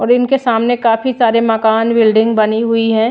और इनके सामने काफी सारे मकान बिल्डिंग बनी हुई है।